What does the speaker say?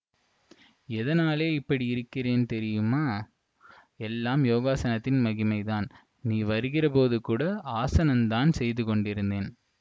எதனாலே இப்படி இருக்கிரேன் தெரியுமா எல்லாம் யோகாசனத்தின் மகிமைதான் நீ வருகிறபோது கூட ஆஸனந்தான் செய்து கொண்டிருந்தேன்